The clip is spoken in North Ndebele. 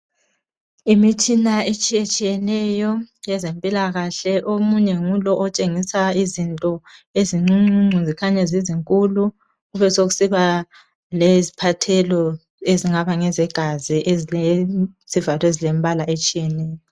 Imitshina etshiyetshiyeneyo ezempilakahle, omunye ngulo otshengisa izinto ezincuncuncu zikhanya zizinkulu, kube sokusiba ngeziphathelo ezingaba ngezegazi ezilezivalo ezilembala etshiyeneyo.